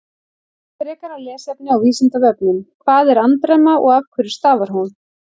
Frekara lesefni á Vísindavefnum: Hvað er andremma og af hverju stafar hún?